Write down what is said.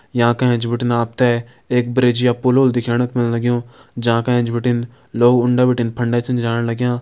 याँ का एैंच बटिन अपते एक ब्रिज या पुल होल दिख्येणक मा लग्युं जाँका एैंच बटिन लोग उंडा बटिन फंडा छन जाण लग्यां।